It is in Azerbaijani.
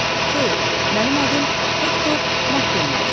Xeyr, mənim adım Hektor Makkuindir.